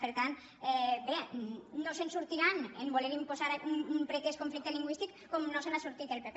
per tant bé no se’n sortiran a voler imposar un pretès conflicte lingüístic com no se n’ha sortit el pp